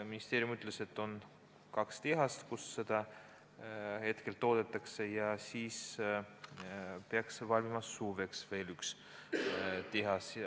Ministeerium ütles, et on kaks tehast, kus seda hetkel toodetakse, ja et suveks peaks valmima veel üks tehas.